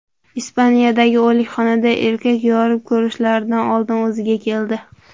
Ispaniyadagi o‘likxonada erkak yorib ko‘rishlaridan oldin o‘ziga keldi.